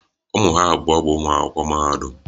Ụmụ ha abụọ bụ ụmụ akwụkwọ mahadum